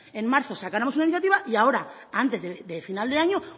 en marzo sacáramos una iniciativa y ahora antes de final de año